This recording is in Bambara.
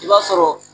I b'a sɔrɔ